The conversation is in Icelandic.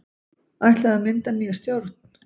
Ætlað að mynda nýja stjórn